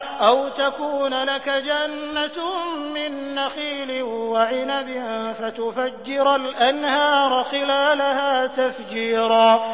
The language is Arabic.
أَوْ تَكُونَ لَكَ جَنَّةٌ مِّن نَّخِيلٍ وَعِنَبٍ فَتُفَجِّرَ الْأَنْهَارَ خِلَالَهَا تَفْجِيرًا